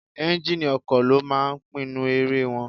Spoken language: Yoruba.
Ẹ́njíníì ọkọ̀ ló máa ń pinnu eré wọn.